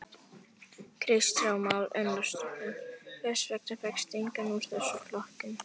Kristján Már Unnarsson: Hvers vegna fékkstu engan úr þessum flokkum?